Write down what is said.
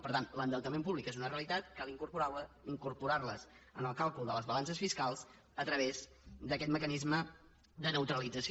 per tant l’endeutament públic és una realitat cal incorporar lo en el càlcul de les balances fiscals a través d’aquest mecanisme de neutralització